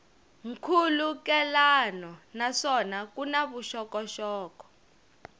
nkhulukelano naswona ku na vuxokoxoko